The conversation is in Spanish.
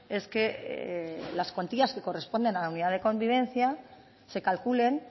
es que las cuantías que corresponden a la unidad de convivencia se calculen